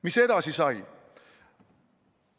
Mis edasi sai?